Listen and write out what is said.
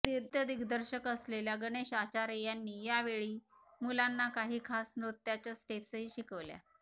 नृत्यदिग्दर्शक असलेल्या गणेश आचार्य यांनी या वेळी मुलांना काही खास नृत्याच्या स्टेप्सही शिकवल्या